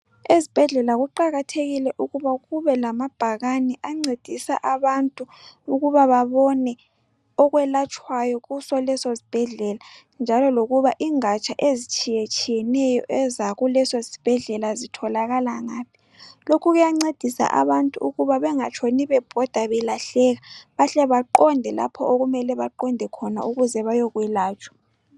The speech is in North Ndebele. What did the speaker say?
Ezibhedlela kuqakathekile ukuba kubelamabhakane ancedisa abantu ukuba babone okwelatshwayo kusoleso sibhedlela njalo lokuba ingatsha ezitshiyeneyo ezakuleso sibhedlela zitholakala ngaphi. Lokhu kuyancedisa abantu ukuba bengatshoni bebhoda belahleka bahle baqonde lapho okumele baqonde khona ukuze bayelatshwa.